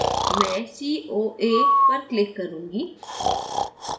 मैं coa पर click करूंगी